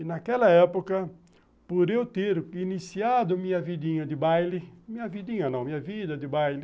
E naquela época, por eu ter iniciado minha vidinha de baile, minha vidinha não, minha vida de baile,